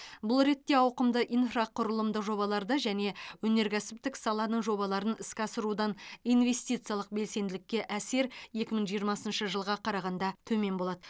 бұл ретте ауқымды инфрақұрылымдық жобаларды және өнеркәсіптік саланың жобаларын іске асырудан инвестициялық белсенділікке әсер екі мың жиырмасыншы жылға қарағанда төмен болады